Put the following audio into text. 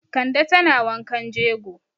Kande tana wankan jego.